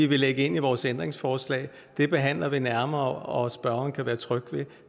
lægge ind i vores ændringsforslag behandler vi nærmere og spørgeren kan være tryg ved